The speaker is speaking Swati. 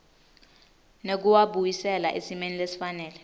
nekuwabuyisela esimeni lesifanele